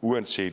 uanset